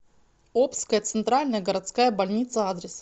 обская центральная городская больница адрес